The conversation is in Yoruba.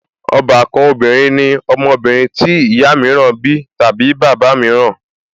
Ọbàkan obìnrin ní ọmọbìnrin tí ìyá mìíràn bí tàbí bàbá mìíràn